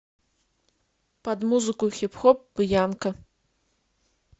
под музыку хип хоп бьянка